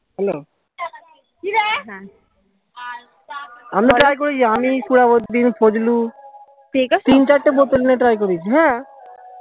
hello আমি try করেছি আমি সুজাউদ্দিন ফজলু তিন চারটে বোতল নিয়ে try করেছি হ্যা